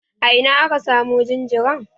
A ina aka samo jinjiran?